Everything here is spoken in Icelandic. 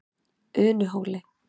Unuhóli